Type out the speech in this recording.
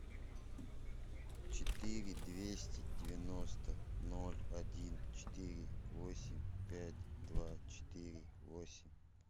четыре двести девяносто ноль один четыре восемь пять два четыре восемь